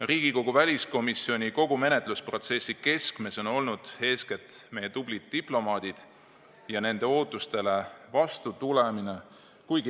Riigikogu väliskomisjoni menetlusprotsessi keskmes on olnud eeskätt meie tublid diplomaadid ja nende ootustele vastutulemine.